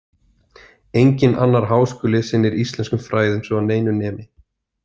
Enginn annar háskóli sinnir íslenskum fræðum svo að neinu nemi.